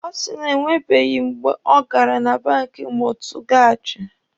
Ọ sị na enwebeghi mgbe ọ gara na banki Mọtụgaji.